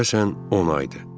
Deyəsən 10 aydır.